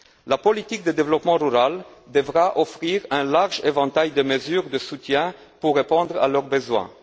La politique de développement rural devra offrir un large éventail de mesures de soutien pour répondre à leurs besoins.